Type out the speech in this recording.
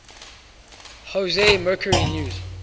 jose mercury news